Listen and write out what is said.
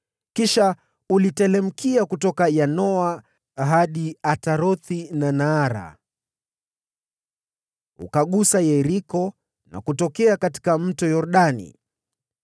Kisha uliteremka kutoka Yanoa hadi Atarothi na Naara, ukagusa Yeriko na kutokea katika Mto Yordani.